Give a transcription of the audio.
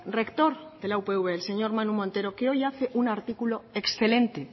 rector de la upv el señor manu montero que hoy hace un artículo excelente